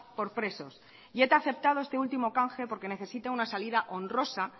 por presos y eta ha aceptado este último canje porque necesita una salida honrosa